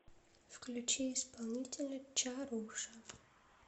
включи исполнителя чаруша